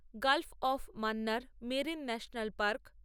Gulf of Mannar marine national park